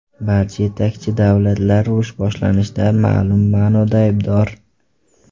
Barcha yetakchi davlatlar urush boshlanishida ma’lum ma’noda aybdor.